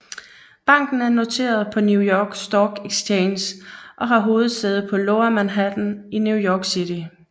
Banken er noteret på New York Stock Exchange og har hovedsæde på Lower Manhattan i New York City